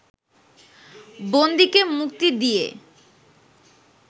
বন্দীকে মুক্তি দিয়া